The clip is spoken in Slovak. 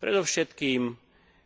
Predovšetkým